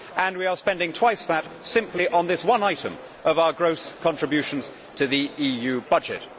We are spending twice that simply on this one item of our gross contributions to the EU budget.